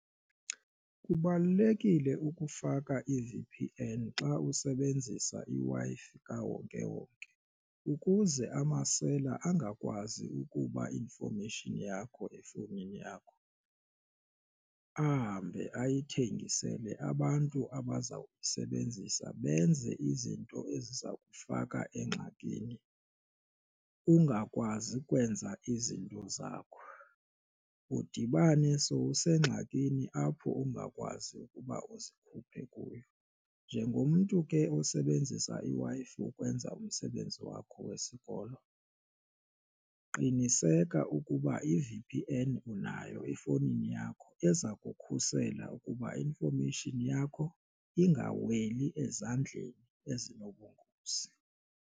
Kubalulekile ukufaka i-V_P_N xa usebenzisa iWi-Fi kawonkewonke ukuze amasela angakwazi ukuba information yakho efowunini yakho ahambe ayithengisele abantu abaza kuyisebenzisa benze izinto eziza kufaka engxakini ungakwazi kwenza izinto zakho, udibane sowusengxakini apho ungakwazi ukuba uzikhuphe kuyo. Njengomntu ke osebenzisa iWi-Fi ukwenza umsebenzi wakho wesikolo qiniseka ukuba i-V_P_N unayo efowunini yakho eza kukhusela ukuba information yakho ingaweli ezandleni ezinobungozi.